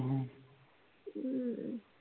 अं